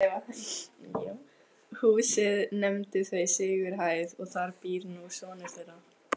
Húsið nefndu þau Sigurhæð og þar býr nú sonur þeirra